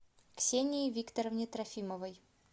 ксении викторовне трофимовой